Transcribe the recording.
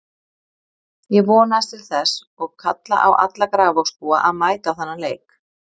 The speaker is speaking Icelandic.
Ég vonast til þess og kalla á alla Grafarvogsbúa að mæta á þennan leik.